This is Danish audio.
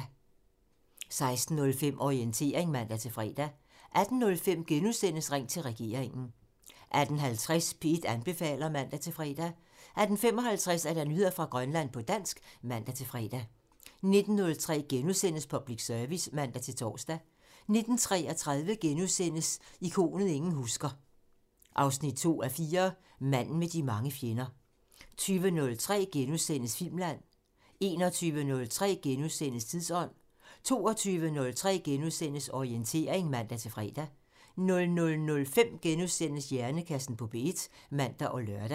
16:05: Orientering (man-fre) 18:05: Ring til regeringen *(man) 18:50: P1 anbefaler (man-fre) 18:55: Nyheder fra Grønland på dansk (man-fre) 19:03: Public Service *(man-tor) 19:33: Ikonet ingen husker – 2:4 Manden med de mange fjender * 20:03: Filmland *(man) 21:03: Tidsånd *(man) 22:03: Orientering *(man-fre) 00:05: Hjernekassen på P1 *(man og lør)